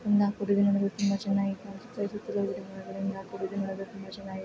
ಇಂದ ಕೂಡಿದೆ ನೋಡಲು ತುಂಬಾ ಚೆನ್ನಾಗಿ ಕಾಣಿಸುತ್ತವೆ ಸುತ್ತಲೂ ಗಿಡ ಮರಗಳು ತುಂಬಾ ಚೆನ್ನಾಗಿ ಕಾಣಿಸುತ್ತಿವೆ.